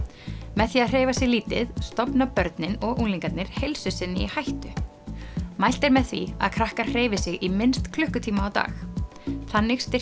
með því að hreyfa sig lítið stofna börnin og unglingarnir heilsu sinni í hættu mælt er með því að krakkar hreyfi sig í minnst klukkutíma á dag þannig styrkja